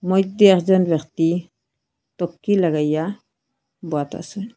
মইদ্যে একজন ব্যক্তি টক্কি লাগাইয়া বহাত আসে।